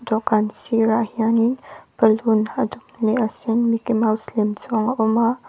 dawhkan sirah hianin balloon a dum leh a sen mickey mouse lem chuang a awm a.